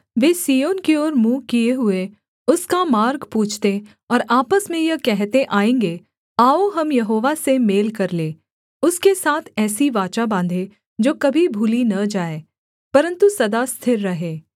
वे सिय्योन की ओर मुँह किए हुए उसका मार्ग पूछते और आपस में यह कहते आएँगे आओ हम यहोवा से मेल कर लें उसके साथ ऐसी वाचा बाँधे जो कभी भूली न जाए परन्तु सदा स्थिर रहे